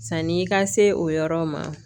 Sanni i ka se o yɔrɔ ma